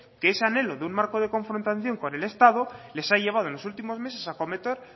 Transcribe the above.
que ese anhelo de un marco de confrontación con el estado les ha llevado en los últimos meses a cometer